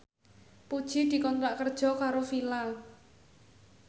Puji dikontrak kerja karo Fila